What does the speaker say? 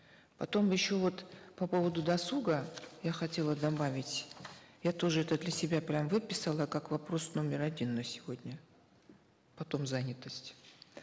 потом еще вот по поводу досуга я хотела добавить я тоже это для себя прямо выписала как вопрос номер один на сегодня потом занятость